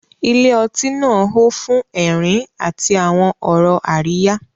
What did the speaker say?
Ilé ọtí náà hó fún ẹ̀rín àti àwọn ọ̀rọ̀ àríyá.